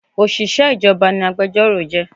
Òṣìṣẹ́ ìjọba ni agbẹjọ́rò jẹ́